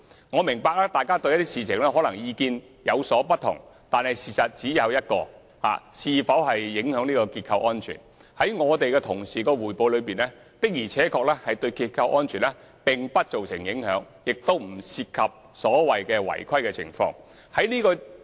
我明白大家對某些事情可能有不同意見，但關於竹園北邨的情況是否影響結構安全，在我們同事的匯報中，確實認為結構安全不受影響，亦不涉及所謂的違規情況。